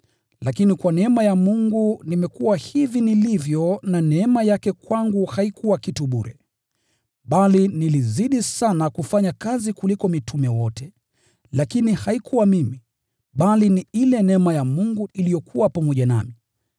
Lakini kwa neema ya Mungu nimekuwa hivi nilivyo na neema yake kwangu haikuwa kitu bure. Bali nilizidi sana kufanya kazi kuliko mitume wote, lakini haikuwa mimi, bali ni ile neema ya Mungu iliyokuwa pamoja nami.